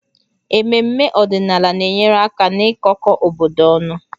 Ememme ọdịnala na-enyere aka n'ịkọkọ obodo ọnụ